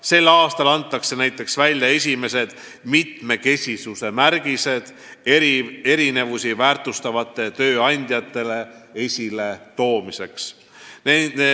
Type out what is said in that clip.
Sel aastal antakse näiteks välja esimesed mitmekesisuse märgised, et erinevusi väärtustavaid tööandjaid esile tuua.